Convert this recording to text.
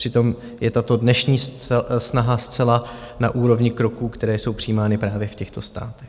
Přitom je tato dnešní snaha zcela na úrovni kroků, které jsou přijímány právě v těchto státech.